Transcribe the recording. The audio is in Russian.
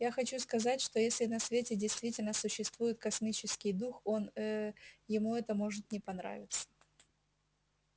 я хочу сказать что если на свете действительно существует космический дух он ээ ему это может не понравиться